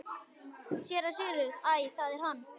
SÉRA SIGURÐUR: Æ, það er hann!